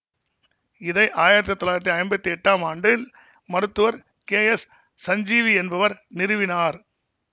இதை ஆயிரத்தி தொள்ளாயிரத்தி ஐம்பத்தி எட்டாம் ஆண்டில் மருத்துவர் கே எஸ் சஞ்சீவி என்பவர் நிறுவினார்